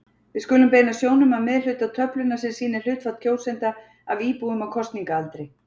Við skulum beina sjónum að miðhluta töflunnar sem sýnir hlutfall kjósenda af íbúum á kosningaaldri.